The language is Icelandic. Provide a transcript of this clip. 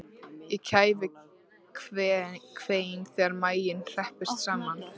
Ég kæfi kvein þegar maginn herpist saman.